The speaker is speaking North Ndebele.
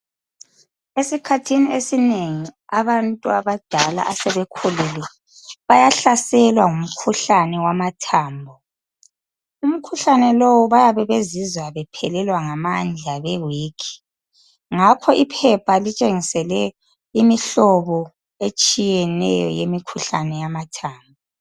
Esikhathini esinengi abantu abadala asebekhulile bayahlaselwa ngumkhuhlane wamathambo. Umkhuhlane lowu bayabebezizwa bephelelwa ngamandla bewikhi. Ngakho iphepha litshengisele imihlobo etshiyeneyo yemkhuhlane wamathambo.